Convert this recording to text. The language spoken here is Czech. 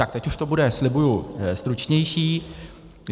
Tak teď už to bude, slibuji, stručnější.